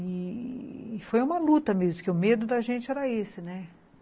E foi uma luta mesmo, porque o medo da gente era esse, né?